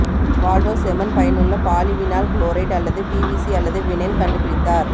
Waldo Semon பயனுள்ள polyvinyl chloride அல்லது PVC அல்லது வினைல் கண்டுபிடித்தார்